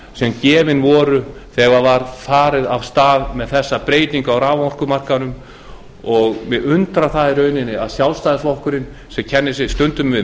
sem gefin voru þegar var farið af stað með þessa breytingu á raforkumarkaðnum og mig undrar það í rauninni að sjálfstæðisflokkurinn sem kennir sig stundum við